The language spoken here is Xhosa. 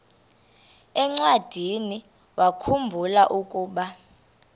encwadiniwakhu mbula ukuba